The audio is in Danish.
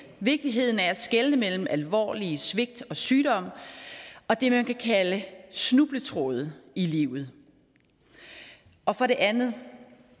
vigtigheden af at skelne mellem alvorlige svigt og sygdom og det man kan kalde snubletråde i livet og for det andet